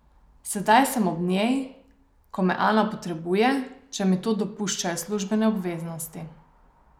Sedaj sem ob njej, ko me Ana potrebuje, če mi to dopuščajo službene obveznosti.